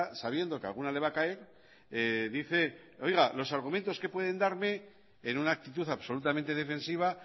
sabiendo que alguna le va a caer dice oiga los argumentos que pueden darme en una actitud absolutamente defensiva